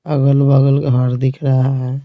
अगल-बगल घर दिख रहा है।